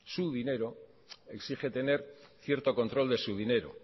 su dinero exige tener cierto control de su dinero